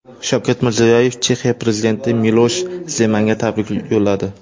Shavkat Mirziyoyev Chexiya prezidenti Milosh Zemanga tabrik yo‘lladi.